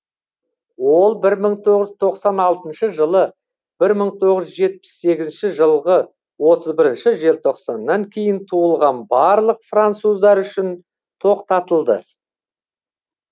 ол бір мың тоғыз жүз тоқсан алтыншы жылы бір мың тоғыз жүз жетпіс сегізінші жылғы отыз бірінші желтоқсаннан кейін туылған барлық француздар үшін тоқтатылды